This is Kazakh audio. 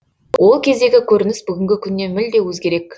ол кездегі көрініс бүгінгі күннен мүлде өзгерек